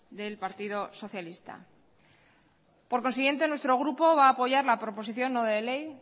del partido socialista por consiguiente nuestro grupo va a apoyar la proposición no de ley